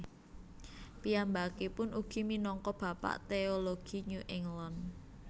Piyambakipun ugi minangka bapak teologi New England